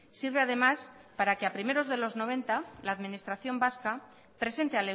sirve además para que a primeros de mil novecientos noventa la administración vasca presente